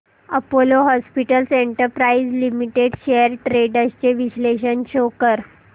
Apollo hospitals enterprise limited shares trends चे विश्लेषण show कर